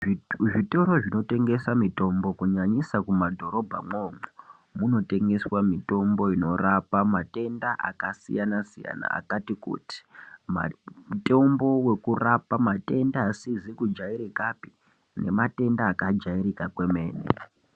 Kuzvitoro zvinotengesa mitombo kunyanyisa mumadhorobha mwoumwo munotengeswa mitombo inorapa matenda akasiyana-siyana akati kuti mutombo wekurapa matenda asizi kujairikapi nematenda akajairika kwemene.